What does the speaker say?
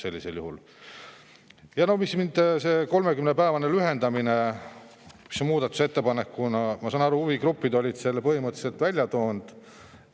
Ja no see 30 päeva võrra lühendamine, mis on muudatusettepanekus – ma saan aru, et huvigrupid olid selle põhimõtteliselt välja toonud.